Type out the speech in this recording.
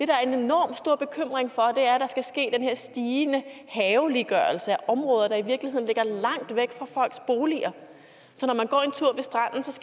der er en enormt stor bekymring for er at der skal ske den her stigende haveliggørelse af områder der i virkeligheden ligger langt væk fra folks boliger sådan